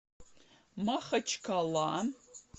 махачкала